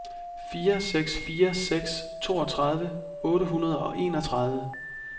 fire seks fire seks toogtredive otte hundrede og enogtredive